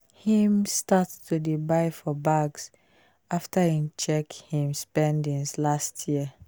him start to dey buy for bags after e check him him spendings last year